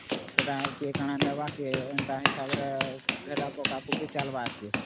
ସେଟା କିଏ କଣ ନବା ଏନ୍ତା ହିସାବ ରେ ହେଟା ପକା ପକୀ ଚାଲବା